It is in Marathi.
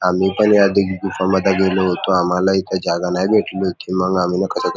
आम्ही पण या तीन गुहा मध्ये गेलो होतो आम्हाला इथ जागा नाही भेटली होती म्हणुन आम्हीना --